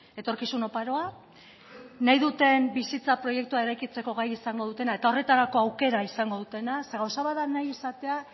etorkizun oparoa nahi duten bizitza proiektua eraikitzeko gai izango dutena eta horretarako aukera izango dutena zeren gauza bat da nahi izatea